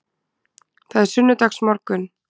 Það er sunnudagsmorgunn.